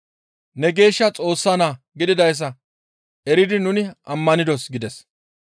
Ne geeshsha Xoossa naa gididayssa eridi nuni ammanidos» gides.